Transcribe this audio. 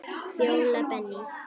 Fjóla Benný.